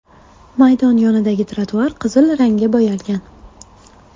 Maydon yonidagi trotuar qizil rangga bo‘yalgan.